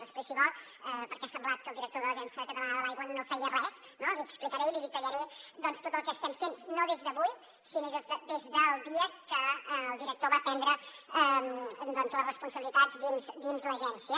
després si vol perquè ha semblat que el director de l’agència catalana de l’aigua no feia res no li explicaré i li detallaré doncs tot el que estem fent no des d’avui sinó des del dia que el director va prendre doncs les responsabilitats dins l’agència